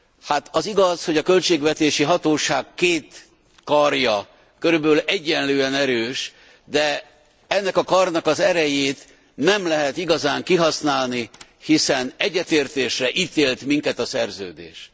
Hát az igaz, hogy a költségvetési hatóság két karja körülbelül egyenlően erős, de ennek a karnak az erejét nem lehet igazán kihasználni, hiszen egyetértésre ítélt minket a Szerződés.